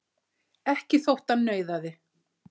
Ekki þótt hann nauðaði.